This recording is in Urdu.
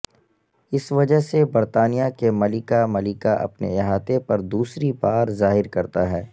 اس وجہ سے برطانیہ کی ملکہ ملکہ اپنے احاطہ پر دوسری بار ظاہر کرتا ہے